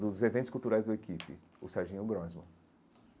dos eventos culturais da equipe, o Serginho Grosman.